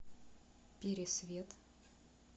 пересвет